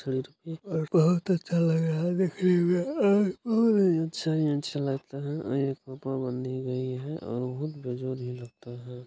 बहुत अच्छा लग रहा है देखने में और-और अच्छा ही अच्छा लग रहा है बहुत बेजोरी लगता है।